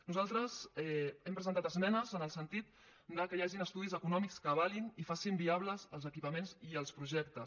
nosaltres hem presentat esmenes en el sentit que hi hagin estudis econòmics que avalin i facin viables els equipaments i els projectes